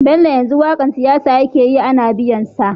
Bello yanzu waƙar siyasa yake yi Ana biyan sa